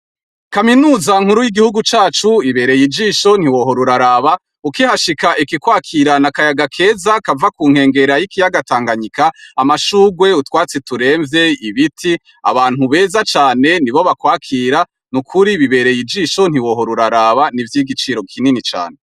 Kaminuza nkuru y'igihugu cacu ibereye ijisho ntiwohora uraraba ukihashika iki kwakira n'akayaga keza kuva kunkengera y'ikiyaga Tanganyika amashurwe utwatsi turemvye ibiti abantu beza cane nibo bakwakira nukuri bibereye ijisho ntiwohora uraraba nivy'igiciro kinini cane .